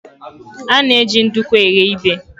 A na-eji nduku eghe ibè.